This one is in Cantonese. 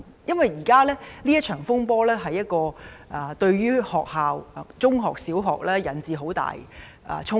因為現時這場風波已對學校，不論是中學或小學，帶來了很大的衝擊。